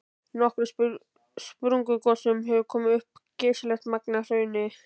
Í nokkrum sprungugosum hefur komið upp geysilegt magn af hrauni.